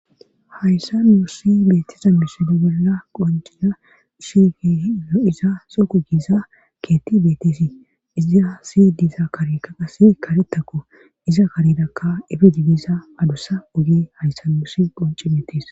hayssa nuussi beettiza misodo bolla qoncina shigihiino iza soku giiza keetti beettesii iza si diiza karekka qase karettakko iza karedakka efi jigiisa adossa oge hayssa nuusi qonci beetis